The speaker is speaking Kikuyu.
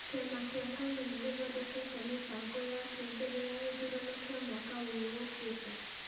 Kĩama kĩa KANU nĩ gĩthondekete mĩbango yakĩo mbere ya gĩthurano kĩa mwaka ũyũ ũkĩte.